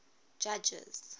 judges